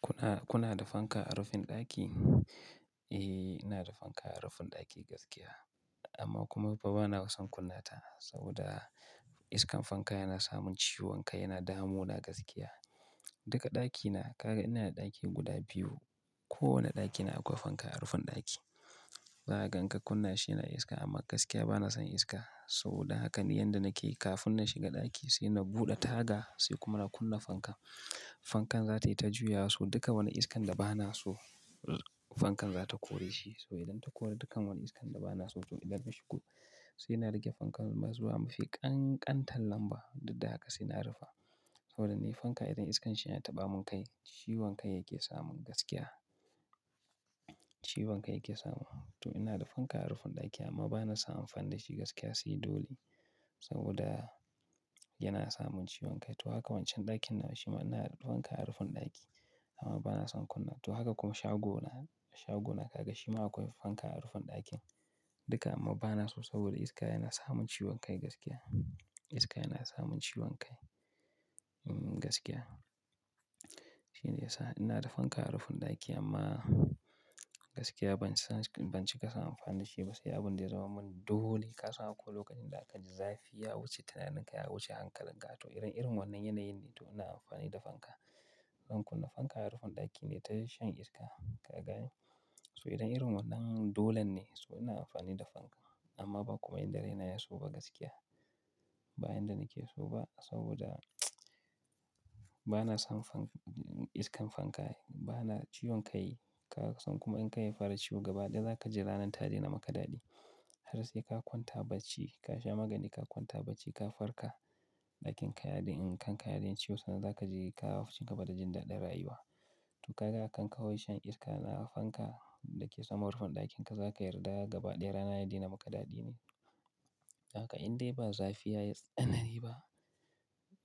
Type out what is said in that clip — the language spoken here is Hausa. Kuna, kuna da fanka a rufin ɗaki? Eh, ina da fanka a rufin ɗaki gaskiya. Amma kuma fa bana son kunna ta saboda iskan fanka yana samun ciwon kai, yana damu na gaskiya. Duka ɗakina, ka ga ina da ɗaki guda biyu. Kowane ɗaki na akwai fanka a rufin ɗaki. Zakaga inka kunna shi yana iska amma gaskiya bana son iska saboda haka ni yanda nake kafin na shiga ɗaki sai na buɗe taga sai kuma na kunna fanka. Fankan za ta yi ta juya so duka wani iskan da bana so, fankan za ta kore shi. So idan ta kori dukan wani iskan da bana so to idan na shigo sai na rage fankan zuwa mafi ƙanƙantar lamba, duk da haka saina rufe. Saboda ne fanka idan iskanshi yana ta bamu kai, ciwon kai yake samun gaskiya. Ciwon kai yake samun. To ina da fanka a rufin ɗaki amma bana san amfani da shi gaskiya sai dole. Saboda yana samun ciwon kai. To haka wancan dakin nawa shima inada fanka a rufin daki amma bana san kunnawa to haka kuma shago na, shago na ka ga shi ma akwai fanka a rufin ɗakin duka amma bana so saboda iska yana samun ciwon kai gaskiya. Iska yana samun ciwon kai, mm gaskiya. Shine ya sa ina da fanka a rufin ɗaki amma gaskiya ban san, ban cika son amfani da shi ba. Sai abin da ya zama mun dole ka san akwai lokacin da aka ji zafi ya wuce, tunanin ka ya wuce hankalin ka. To idan, irin wannan yanayin ne to ina amfani da fanka. Zan kunna fanka a rufin ɗaki nayi ta shan iska ka ga. So idan irin wannan dolan ne so ina amfani da fanka. Amma ba kuma yadd raina yaso ba gaskiya. Ba yanda nake so ba saboda banason fanka, iskan fanka ciwon kai kasan kuma idan kai yafara ciwo gaba ɗaya zakaji ranar tadena maka dadi. Har seka kwanta barci kasha magani ka kwanta barci ka farka, kanka yadena yin ciwo sannan zaka cigaba da jin daɗin rayuwa. To kaga kan kawai shan iska na fanka dake saman rufin ɗakin ka ba zaka yarda gaba daya rana yadena maka daɗi ba dan haka indai ba zafi yayi tsanani ba